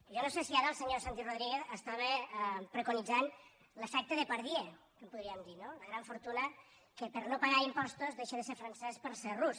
jo no sé si ara el senyor santi rodríguez estava preconitzant l’efecte depardieu que en podríem dir no la gran fortuna que per no pagar impostos deixa de ser francès per ser rus